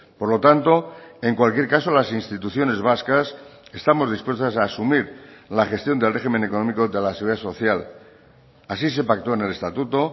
por lo tanto en cualquier caso las instituciones vascas estamos dispuestas a asumir la gestión del régimen económico de la seguridad social así se pactó en el estatuto